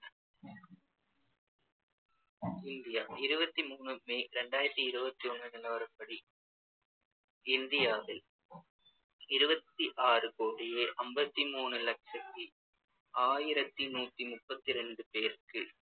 India இருபத்தி மூணு May ரெண்டாயிரத்தி இருவத்தி ஒண்ணு நிலவரப்படி இந்தியாவில் இருபத்தி ஆறு கோடியே அம்பத்தி மூணு லட்சத்தி ஆயிரத்தி முப்பத்தி ரெண்டு பேருக்கு